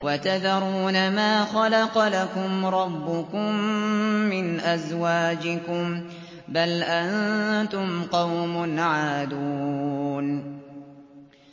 وَتَذَرُونَ مَا خَلَقَ لَكُمْ رَبُّكُم مِّنْ أَزْوَاجِكُم ۚ بَلْ أَنتُمْ قَوْمٌ عَادُونَ